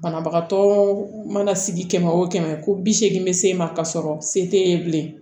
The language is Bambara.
Banabagatɔ mana sigi kɛmɛ o kɛmɛ ko bi seegin bɛ se e ma ka sɔrɔ se t'e ye bilen